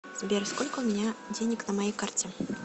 сбер сколько у меня денег на моей карте